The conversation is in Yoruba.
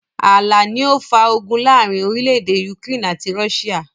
Ààlà ni ó ó fà ogun láàrín orílédé Ukraine àti Russia.